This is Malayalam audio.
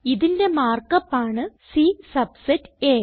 ഇതിന്റെ മാർക്ക് അപ്പ് ആണ് C സബ്സെറ്റ് അ